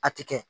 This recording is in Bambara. A ti kɛ